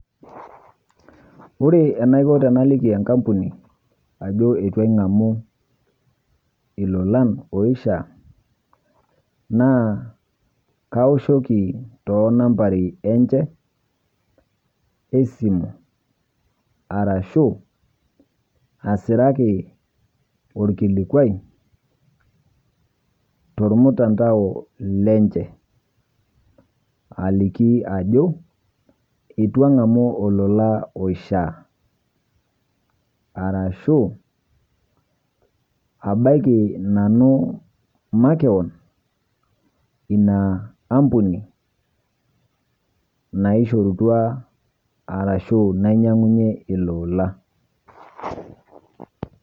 Ore enaikoo tanaliiki ekampuni ajoo etuu aing'amu ilolan oishiaa naa kaoshooki to nambari enchee e simu arashu asiraaki olkilikwai to ilmutandao lenchee alikii ajoo etuu ang'amu ilolan loishiaa arashu abaaki nanu makeoon ena ampuni naishorutua arashu nainyang'unye ilolan.